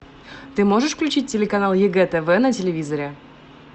ты можешь включить телеканал егэ тв на телевизоре